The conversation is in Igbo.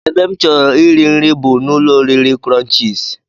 Ebe m chọrọ iri nri bụ n'ụlọoriri crunchies